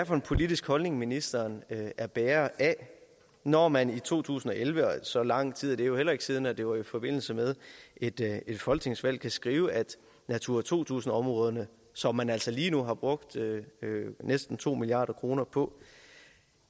for en politisk holdning ministeren er bærer af når man i to tusind og elleve så lang tid er det jo heller ikke siden det var i forbindelse med et folketingsvalg kunne skrive at natura to tusind områderne som man altså lige nu har brugt næsten to milliard kroner på